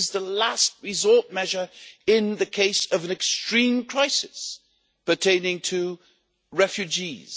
It is the last resort measure in the case of an extreme crisis pertaining to refugees.